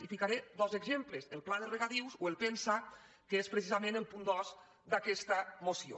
i en ficaré dos exemples el pla de regadius o el pen·saa que és precisament el punt dos d’aquesta moció